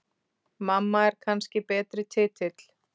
Mamma er kannski betri titill.